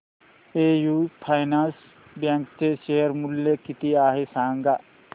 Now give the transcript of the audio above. AU finance bank चे share मूल्य किती आहे सांगा